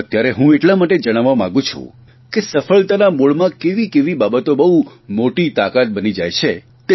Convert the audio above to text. અત્યારે હું એટલા માટે જણાવવા માંગું છું કે સફળતાના મૂળમાં કેવી કેવી બાબતો બહુ મોટી તાકાત બની જાય છે